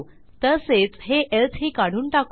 तसेच हे एल्से ही काढून टाकू